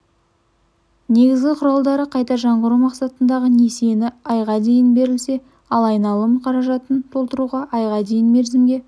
негізгі құралдары қайта жаңғырту мақсатындағы несиені айға дейін берілсе ал айналым қаражатын толтыруға айға дейін мерзімге